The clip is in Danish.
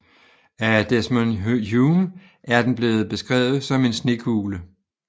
Af Desmond Hume er den blevet beskrevet som en snekugle